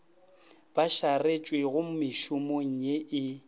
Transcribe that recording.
ba šaretšwego mešomong ye e